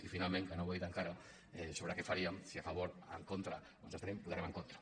i finalment que no ho he dit encara sobre què faríem si a favor en contra o ens abstenim votarem en contra